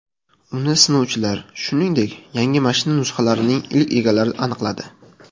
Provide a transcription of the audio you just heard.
Uni sinovchilar, shuningdek, yangi mashina nusxalarining ilk egalari aniqladi.